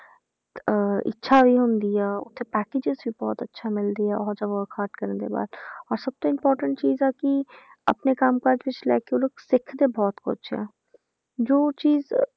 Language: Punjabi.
ਅਹ ਇੱਛਾ ਇਹ ਹੁੰਦੀ ਹੈ ਉੱਥੇ packages ਵੀ ਬਹੁਤ ਅੱਛਾ ਮਿਲਦੀ ਆ ਉਹ ਜਿਹਾ work hard ਕਰਨ ਦੇ ਬਾਅਦ ਔਰ ਸਭ ਤੋਂ important ਚੀਜ਼ ਆ ਕਿ ਆਪਣੇ ਕੰਮ ਕਾਜ ਵਿੱਚ ਲੈ ਕੇ ਉਹ ਲੋਕ ਸਿੱਖਦੇ ਬਹੁਤ ਕੁਛ ਆ ਜੋ ਚੀਜ਼